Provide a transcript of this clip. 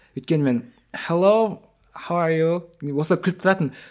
өйткені мен деп осылай күліп тұратынмын